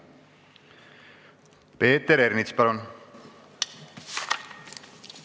Peeter Ernits, palun!